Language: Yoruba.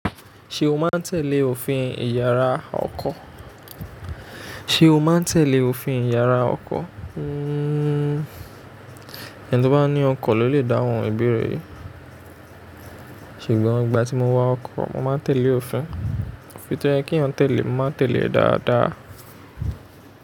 Ṣé o máa ń tẹ̀lé òfin Ìyàrá ọkọ̀? Ṣé o máa ń tẹ̀lé òfin Ìyàrá ọkọ̀? Hmm, ẹni tí ó bá ní ọkọ̀ ló lè dáhùn ìbéèrè yìí. Ṣùgbọ́n nígbà tí mo wa ọkọ̀, mo máa ń tẹ̀lé òfin. Òfin tó yẹ kí èèyàn tẹ̀lé, mo máa ń tẹ̀lé e dáadáa.